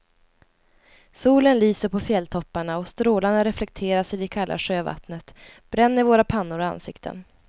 Solen lyser på fjälltopparna och strålarna reflekteras i det kalla sjövattnet, bränner våra pannor och ansikten.